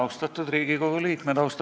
Austatud Riigikogu liikmed!